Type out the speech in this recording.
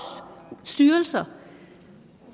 styrelser